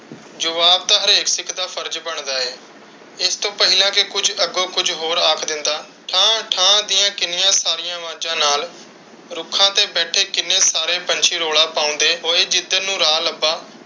ਜਵਾਬ ਤਾ ਹਰ ਇੱਕ ਸਿੱਖ ਦਾ ਫਰਜ਼ ਬਣਦਾ ਹੈ। ਇਸ ਤੋਂ ਪਹਿਲਾਂ ਕਿ ਕੁਝ ਅੱਗੋਂ ਕੁਝ ਹੋਰ ਆਖ ਦਿੰਦਾ, ਠਾਂ ਠਾਂ ਦੀਆਂ ਕਿੰਨੀਆਂ ਸਾਰੀਆਂ ਅਵਾਜ਼ਾਂ ਨਾਲ ਰੁੱਖਾਂ ਤੇ ਬੈਠੇ ਕਿੰਨੇ ਸਾਰੇ ਪੰਛੀ ਰੌਲਾ ਪਾਉਂਦੇ ਹੋਏ, ਜਿੱਧਰ ਨੂੰ ਰਾਹ ਲੱਬਾ,